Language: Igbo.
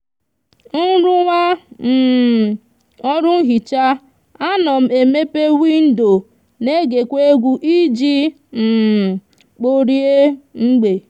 nruwa um oru nhicha a no m emepe windo n'ege kwa egwu iji um kporie mgbe